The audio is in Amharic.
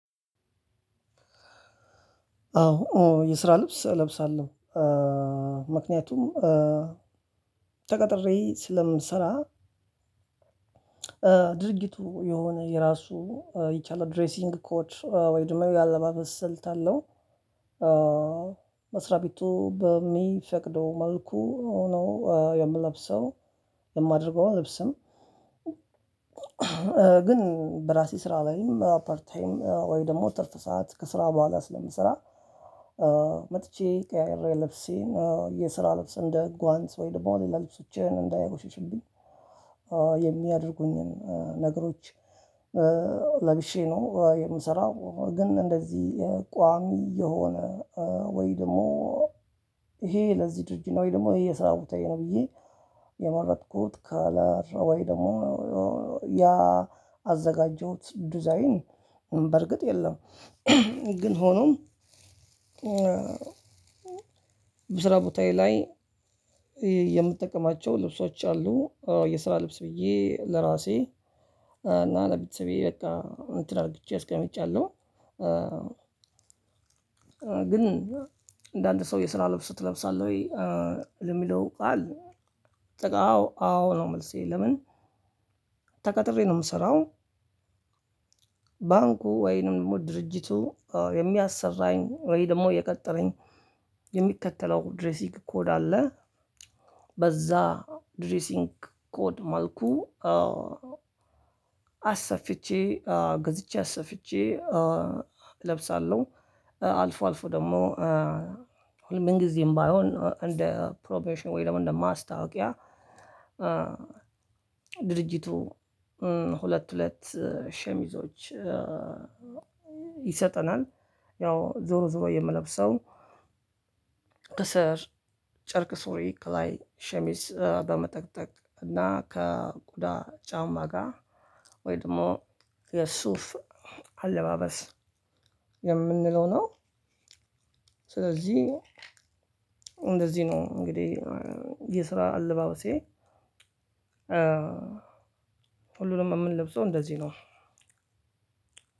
አዎ የስራ ልብስ እለብሳለሁ ምክንያቱም ተቀጥሬ ስለምሰራ ድርጅቱ የሆነ የራሱ የቻለ ድሬሲንግ ኮድ ወይም ደግሞ የአለባበስ ስልት አለው። መስሪያ ቤቱ በሚፈቅደው መልኩ ነው የምለብሰው የማደርገው ልብስም ግን በራሴ ስራ ላይም አፐርታይም ወይ ደግሞ ትርፍ ሰዓት ከስራ በኋላ ስለምሰራ መጥቼ ቀሪ ልብሴን የስራ ልብስ እንደ ጓንት ወይም ደግሞ ለላ ልብሶቼ እንዳይ ቆሽሽብኝ የምያደርጉኝ ነገሮች ለብሼ ነው የምሰራው ግን እንደዚህ ቋሚ የሆነ ወይ ደግሞ ይሄ ለዚህ ድርጅት ነው ወይ ደግሞ የስራዬ ቦታየ ነው ብዬ የመረጥኩት ካላራ ወይ ደግሞ ያአዘጋጀሁት ዲዛይን በርግጥ የለም ግን ሆኖም በስራ ቦታዬ ላይ የምጠቀማቸው ልብሶች አሉ። የስራ ልብስ ብዬ ለራሴ እና ለቤተሰቤ በቃ እንትን አድርጓቸው አስቀምጫለሁ ግን እንደ አንድ ሰው የስራ ልብስ ትለብሳለህ ወይ የሚለው ቃል አዎ አዎ ነው መልሴ ለምን፣ ተቀጥረው ነው የምሰራው። ባንኩ ወይም ድርጅቱ የምያሠራኝ ወይም ደግሞ የቀጠረኝ የምከተለው ድረሱንግ ኮድ አለው። በዛ ድሬሲንግ ኮድ መልኩ አሰፍቼ ገዝቼ አሰፍቼ እለብሳለሁ አልፎ አልፎ ደግሞ ምን ጊዜም ባይሆን እንደ ፕሮሞሽን ወይ ደግሞ እንደ ማስታወቂያ ድርጅቱ ሁለት ሁለት ሸሚዞች ይሰጠናል ያው ዞሮ ዞሮ የምለብሰው ክስር ጨርቅ ሱሪ ክላይ ሸሚዝ በመጠቅጠቅ እና ከቆዳ ጫማ ጋር ወይ ደግሞ የሱፍ አለባበስ የምንለው ነው። ስለዚህ እንደዚህ ነው እንግዲህ የስራ አልባበሴ ሁሉንም የምንለብሰው እንደዚህ ነው።